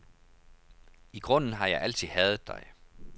I grunden har jeg altid hadet dig.